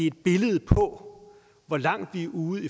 et billede på hvor langt vi er ude